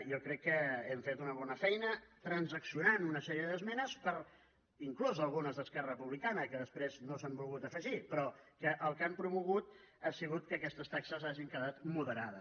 jo crec que hem fet una bona feina transaccionant una sèrie d’esmenes inclús algunes d’esquerra republicana que després no s’hi han volgut afegir però que el que han promogut ha sigut que aquestes taxes hagin quedat moderades